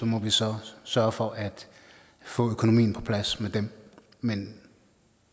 må vi så sørge for at få økonomien på plads med dem men